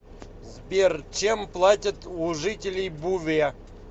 сбер чем платят у жителей буве